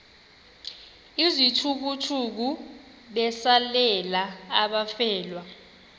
izithukuthuku besalela abafelwa